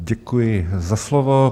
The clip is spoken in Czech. Děkuji za slovo.